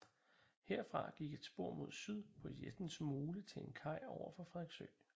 Herfra gik et spor mod syd på Jessens Mole til en kaj over for Frederiksø